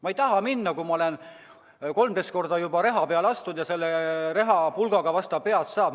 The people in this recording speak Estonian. Ma ei taha minna, kui ma olen 12 korda juba reha peale astunud ja selle rehaga vastu pead saanud.